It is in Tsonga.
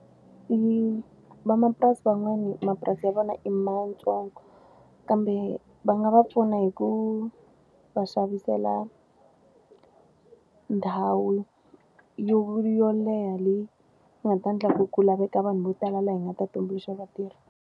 Van'wamapurasi van'wani mapurasi ya vona i mantsongo, kambe va nga va pfuna hi ku va xavisela ndhawu yo yo leha leyi nga ta endla ku ku laveka vanhu vo tala laha hi nga ta tumbuluxa vatirhi